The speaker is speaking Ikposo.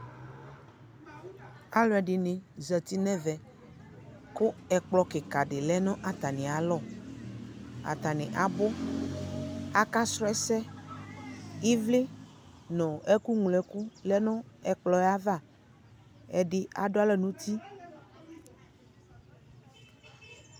alʋɛdini zati nʋɛvɛ kʋ ɛkplɔ kikaa di lɛnʋ atami alɔ, atani abʋ, aka srɔ ɛsɛ, ivli nʋ ɛkʋ mlɔ ɛkʋ lɛnʋ ɛkplɔɛ aɣa, ɛdi adʋ alɔ nʋ ʋti ʋ